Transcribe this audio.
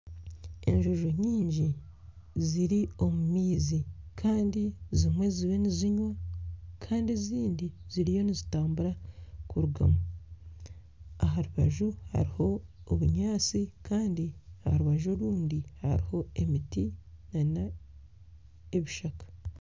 Enjojo nyingi ziri omu maizi kandi zimwe ziriyo nizinywa kandi ezindi ziriyo nizitambura kurugamu aha rubaju hariho obunyaatsi kandi aha rubaju orundi hariho emiti nana ebishaka.